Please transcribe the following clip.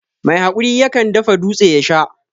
Mai hakuri yakan dafa dūtse ya Sha.